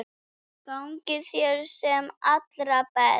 Gangi þér sem allra best.